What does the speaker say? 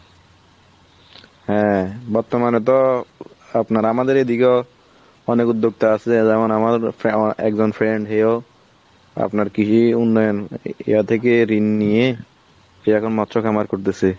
হ্যাঁ বর্তমানে তো আপনার আমাদের এই দিকেও অনেক উদ্যোক্তা আছে যেমন আমার আমার ফাউয়া একজন friend হেয়ো আপনার কৃষি উন্নয়ন এরা থেকে ঋণ নিয়ে কে এখন মৎস্য খামার করে দিসে।